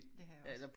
Det har jeg også